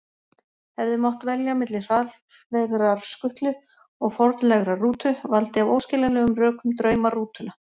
Hafði mátt velja milli hraðfleygrar skutlu og fornlegrar rútu, valdi af óskiljanlegum rökum drauma rútuna.